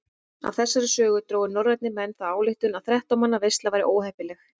Af þessari sögu drógu norrænir menn þá ályktun að þrettán manna veisla væri óheppileg.